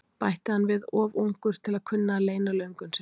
bætti hann við, of ungur til að kunna að leyna löngun sinni.